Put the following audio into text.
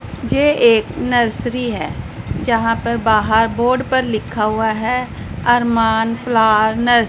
ये एक नर्सरी है जहां पर बाहर बोर्ड पर लिखा हुआ है। Armaan flower nurse--